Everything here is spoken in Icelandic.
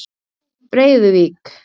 Breiðuvík